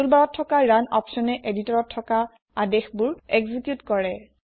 টুল barত থকা ৰুণ অপছনে এদিটৰত থকা আদেশবোৰ একজিকিউট কৰে